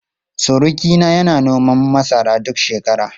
Surukina yana noman masara duk shekara.